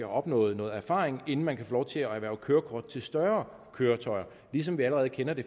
opnået noget erfaring inden man kan få lov til at erhverve kørekort til større køretøjer ligesom vi allerede kender det